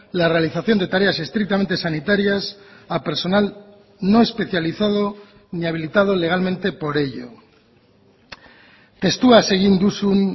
la realización de tareas estrictamente sanitarias a personal no especializado ni habilitado legalmente por ello testuaz egin duzun